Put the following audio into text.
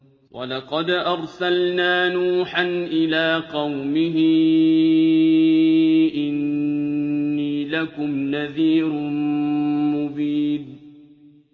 وَلَقَدْ أَرْسَلْنَا نُوحًا إِلَىٰ قَوْمِهِ إِنِّي لَكُمْ نَذِيرٌ مُّبِينٌ